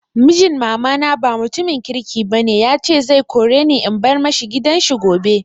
Mijin mama na ba mutumin kirki ba ne, ya ce zai kore ni in bar ma shi gidan shi gobe.